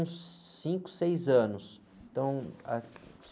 Uns cinco, seis anos.